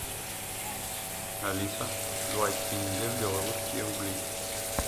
алиса два тенге в белорусские рубли